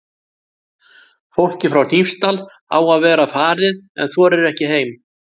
Fólkið frá Hnífsdal á að vera farið en þorir ekki heim.